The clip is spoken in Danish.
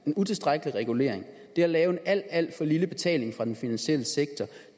en utilstrækkelig regulering lave en alt alt for lille betaling fra den finansielle sektor